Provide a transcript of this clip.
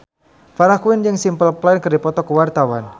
Farah Quinn jeung Simple Plan keur dipoto ku wartawan